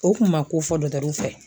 O kun ma ko fɔ fɛ.